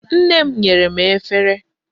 Nne m nyere m efere.